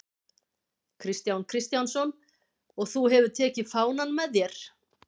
Kristján Kristjánsson: Og þú hefur tekið fánann með þér?